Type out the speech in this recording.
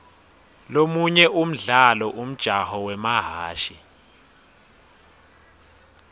lomunye umdlalo umjaho wemahhashi